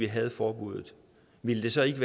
havde forbuddet ville vi så ikke